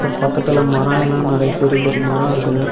பக்கத்துல மரம்லாம் நெறைய பெரிய பெரிய மரம் இருக்குது.